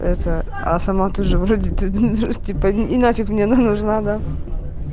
это а сама ты же вроде тебе нафиг не нужна да